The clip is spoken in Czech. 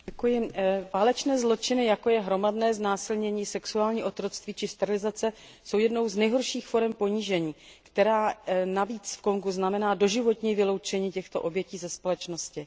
Paní předsedající, válečné zločiny, jako je hromadné znásilnění, sexuální otroctví či sterilizace, jsou jednou z nejhorších forem ponížení, které navíc v Kongu znamená doživotní vyloučení těchto obětí ze společnosti.